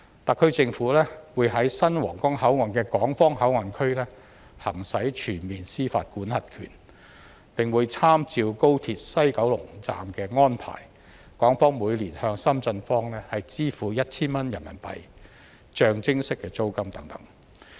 特區政府會在新皇崗口岸的港方口岸區行使全面司法管轄權，並會參照高鐵西九龍站的安排，港方每年向深圳方支付 1,000 元人民幣象徵式租金等。